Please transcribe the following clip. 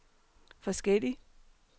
forskellig